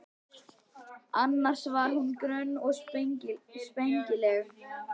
Annars var hún grönn og spengileg.